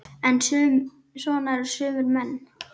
En svona eru sumir menn.